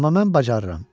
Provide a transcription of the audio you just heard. Amma mən bacarıram.